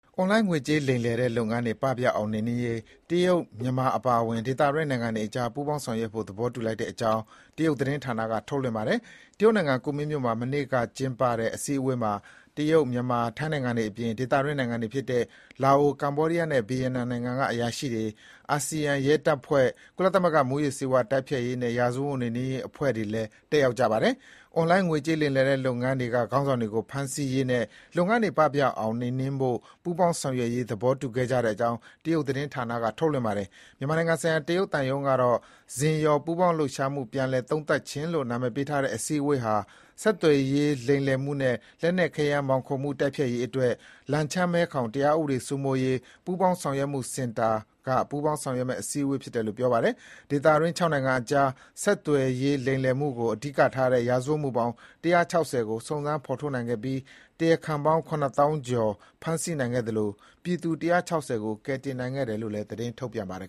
အွန်လိုင်းငွေကြေးလိမ်လည်တဲ့ လုပ်ငန်းတွေ ပပျောက်အောင် နှိမ်နှင်းရေး တရုတ်၊ မြန်မာ အပါအဝင် ဒေသတွင်း နိုင်ငံတွေအကြား ပူးပေါင်းဆောင်ရွက်ဖို့ သဘောတူညီလိုက်တဲ့အကြောင်း အကြောင်း တရုတ်သတင်းဌာနက ထုတ်လွှင့်ပါတယ်။ တရုတ်နိုင်ငံ ကူမင်း (Kunming) မြို့မှာ မနေ့က ကျင်းပတဲ့ အစည်းအဝေးမှာ တရုတ်၊ မြန်မာ၊ ထိုင်း နိုင်ငံတွေအပြင် ဒေသတွင်းနိုင်ငံတွေဖြစ်တဲ့ လာအို၊ ကမ္ဘောဒီးယားနဲ့ ဗီယက်နမ်နိုင်ငံက အရာရှိတွေ၊ အာဆီယံရဲတပ်ဖွဲ့နဲ့ ကုလသမဂ္ဂ မူးယစ်ဆေးဝါးတိုက်ဖျက်ရေးနဲ့ ရာဇဝတ်မှုနှိမ်နှင်းရေးအဖွဲ့ဝင်လည်း တက်ရောက်ပါတယ်။ အွန်လိုင်းငွေကြေး လိမ်လည်တဲ့ လုပ်ငန်းတွေက ခေါင်းဆောင်တွေကို ဖမ်းဆီးရေးနဲ့ လုပ်ငန်းတွေ ပပျောက်အောင် နှိမ်နှင်းဖို့ ပူးပေါင်းဆောင်ရွက်ရေး သဘောတူခဲ့ကြတဲ့အကြောင်း တရုတ်သတင်းဌာနက ထုတ်လွှင့်ပါတယ်။ မြန်မာနိုင်ငံဆိုင်ရာ တရုတ်သံရုံးကတော့“ဇင်ယော်” ပူးပေါင်းလှုပ်ရှားမှု ပြန်လည်သုံးသပ်ခြင်းလို့ နာမည်ပေးထားတဲ့ အစည်းအဝေးဟာ ဆက်သွယ်ရေး လိမ်လည်မှုနဲ့ လက်နက်ခဲယမ်းမှောင်ခိုမှု တိုက်ဖျက်ရေးအတွက် လန်ချန်း-မဲခေါင် တရားဥပဒေစိုးမိုးရေးပူးပေါင်းဆောင်ရွက်မှုစင်တာ ပူးပေါင်းဆောင်ရွက်မယ့် အစည်းအဝေးဖြစ်တယ်လို့ ကြေညာပါတယ်။ ဒေသတွင်း ၆ နိုင်ငံအကြား ဆက်သွယ်ရေးလိမ်လည်မှုကို အဓိကထားသော ရာဇဝတ်မှုပေါင်း ၁၆၀ ကို စုံစမ်းဖော်ထုတ်နိုင်ခဲ့ပြီး တရားခံပေါင်း ၇ သောင်းကျော် ဖမ်းဆီးနိုင်ခဲ့သလို ပြည်သူ ၁၆၀ ကို ကယ်ဆယ်နိုင်ခဲ့တယ်လို့လည်း သတင်းထုတ်ပြန်ပါတယ်